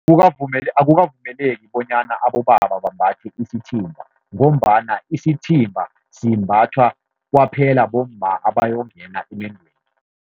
Akukavumeleki bonyana abobaba bambathe isithimba, ngombana isithimba simbathwa kwaphela bomma abayokungena emendweni.